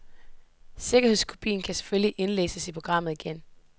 Sikkerhedskopien kan selvfølgelig indlæses i programmet igen.